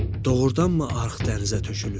Doğurdanmı arx dənizə tökülür?